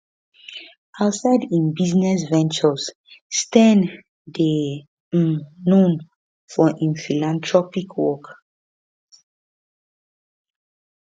outside im business ventures steyn dey um known for im philanthropy work